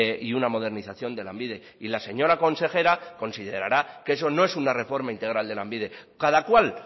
y una modernización de lanbide y la señora consejera considerará que eso no es una reforma integral de lanbide cada cual